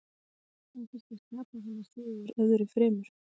Hvað fannst þér skapa þennan sigur öðru fremur?